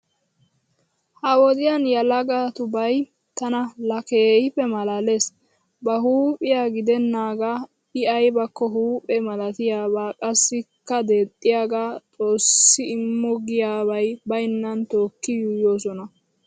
Ha wodiyaa yelagatubay tana laa keehippe malaalees. Ba huuphiya giddennaagaa I aybakko huuphe malatiyaaba qassikka deexxiyaagaa "Xoossi immo" giyaabi baynnasan tookki yuuyyoosona.